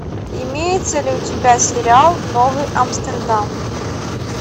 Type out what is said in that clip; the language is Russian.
имеется ли у тебя сериал новый амстердам